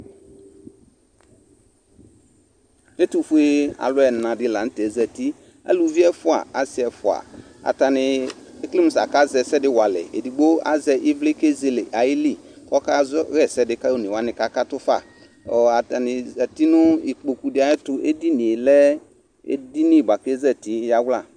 Ɛtʋfue alʋ ɛna dɩ la nʋ tɛ zati Aluvi ɛfʋa, asɩ ɛfʋa, atanɩ ekele mʋ akazɛ ɛsɛ dɩ walɛ Edigbo azɛ ɩvlɩ kʋ ezele ayili kʋ ɔkazɔ ɣa ɛsɛ dɩ kʋ one wanɩ kakatʋ fa Atanɩ zat i nʋ ikpoku dɩ ayɛtʋ Edini yɛ edini bʋa kʋ ezati yawla